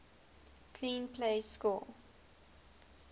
clean plays score